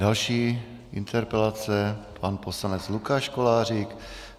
Další interpelace pan poslanec Lukáš Kolářík.